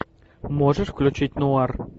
можешь включить нуар